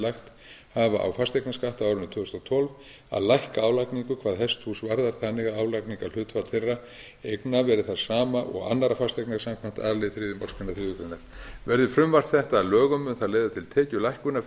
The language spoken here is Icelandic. lagt hafa á fasteignaskatt á árinu tvö þúsund og tólf að lækka álagningu hvað hesthús varðar þannig að álagningarhlutfall þeirra eigna verði það sama og annarra fasteigna samkvæmt a lið þriðju málsgrein þriðju grein verði frumvarp þetta að lögum mun það leiða til tekjulækkunar fyrir